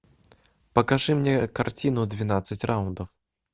покажи мне картину двенадцать раундов